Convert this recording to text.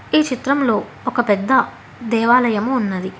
ఈ చిత్రంలో ఒక పెద్ద దేవాలయము ఉన్నది